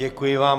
Děkuji vám.